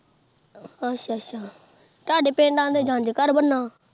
ਅੱਛਾ-ਅੱਛਾ ਤੁਹਾਡੇ ਪਿੰਡ ਆਖਦੇ ਜੰਞ ਘਰ ਬਣਨਾ।